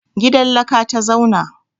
Gidan laka ta zauna.